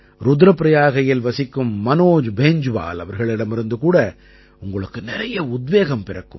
ருத்ர பிரயாகையில் வசிக்கும் மனோஜ் பேன்ஜ்வால் அவர்களிடமிருந்து கூட உங்களுக்கு நிறைய உத்வேகம் பிறக்கும்